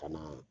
Ka na